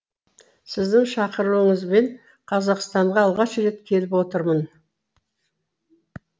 сіздің шақыруыңызбен қазақстанға алғаш рет келіп отырмын